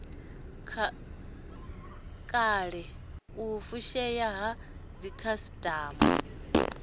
kala u fushea ha dzikhasitama